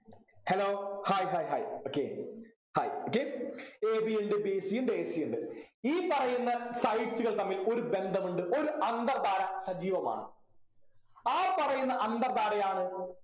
hello hi hi hi okay hi okayAB ഇണ്ട് BC ഇണ്ട് AB ഇണ്ട് ഈ പറയുന്ന sides കൾ തമ്മിൽ ഒരു ബന്ധമുണ്ട് ഒരു അന്തർധാര സജീവമാണ് ആ പറയുന്ന അന്തർധാരയാണ്